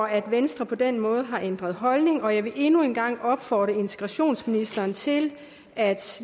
at venstre på den måde har ændret holdning og jeg vil endnu en gang opfordre integrationsministeren til at